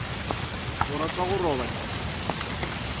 o rata go roba ditshepišo